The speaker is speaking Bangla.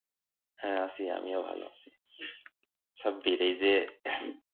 হ্যা আছি আমিও ভাল আছি, সাব্বির এই যে